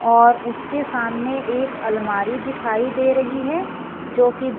और उसके सामने एक अलमारी दिखाई दे रही है जो कि ब--